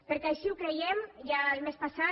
perquè així ho creiem ja el mes passat